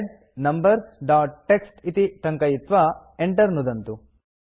head numbers dot TXT इति टङ्कयित्वा enter नुदन्तु